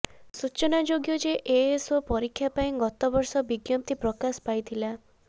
ସୂଚନାଯୋଗ୍ୟ ଯେ ଏଏସଓ ପରୀକ୍ଷା ପାଇଁ ଗତ ବର୍ଷ ବିଜ୍ଞପ୍ତି ପ୍ରକାଶ ପାଇଥିଲା